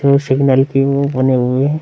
दो सिग्नल की मुंह बने हुए है।